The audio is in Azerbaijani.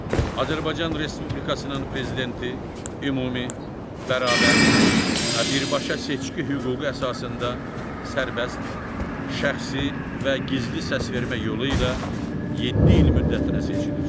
Azərbaycan Respublikasının Prezidenti ümumi, bərabər və birbaşa seçki hüququ əsasında sərbəst, şəxsi və gizli səsvermə yolu ilə yeddi il müddətinə seçilir.